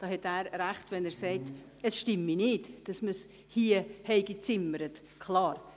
Er hat recht, wenn er sagt, es stimme nicht, dass man die Vorlage hier gezimmert habe.